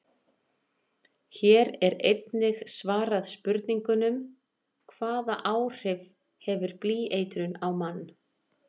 Hér er einnig svarað spurningunum: Hvaða áhrif hefur blýeitrun á mann?